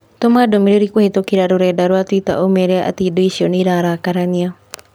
Tũma ndũmĩrĩri kũhītũkīra rũrenda rũa tũita na ũmeera atĩ indo icio niararakarania